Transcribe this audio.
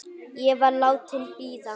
Ég var látin bíða.